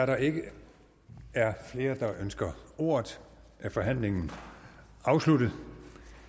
der ikke er flere der ønsker ordet er forhandlingen afsluttet